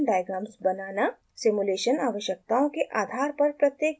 simulation आवश्यकताओं के आधार पर प्रत्येक ब्लॉक कॉन्फ़िगर करना